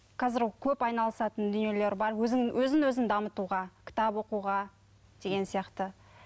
қазір көп айналысатын дүниелер бар өзін өзін өзін дамытуға кітап оқуға деген сияқты